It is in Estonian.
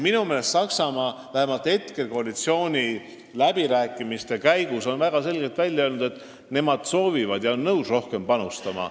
Minu meelest on Saksamaa vähemalt seniste koalitsiooniläbirääkimiste käigus väga selgelt välja öelnud, et ta on nõus rohkem panustama.